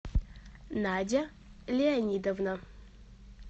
надя леонидовна